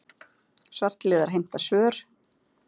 Svartliðar heimta svör